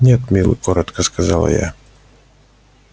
нет милый коротко сказала я